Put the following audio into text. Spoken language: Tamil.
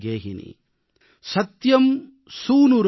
தைர்யம் யஸ்ய பிதா க்ஷமா ச ஜன்னீ சாந்திஸ்சிரம் கேஹினீ